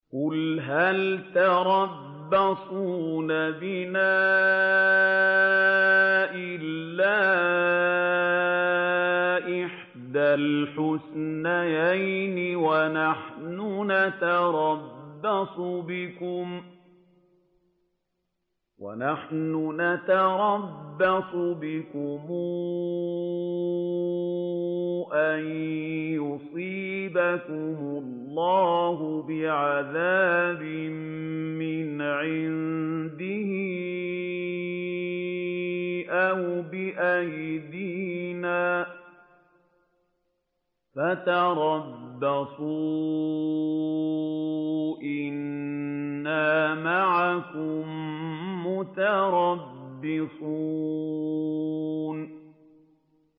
قُلْ هَلْ تَرَبَّصُونَ بِنَا إِلَّا إِحْدَى الْحُسْنَيَيْنِ ۖ وَنَحْنُ نَتَرَبَّصُ بِكُمْ أَن يُصِيبَكُمُ اللَّهُ بِعَذَابٍ مِّنْ عِندِهِ أَوْ بِأَيْدِينَا ۖ فَتَرَبَّصُوا إِنَّا مَعَكُم مُّتَرَبِّصُونَ